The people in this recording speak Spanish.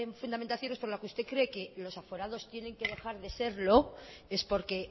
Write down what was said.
fundamentaciones por la que usted cree que los aforados tienen que dejar de serlo es porque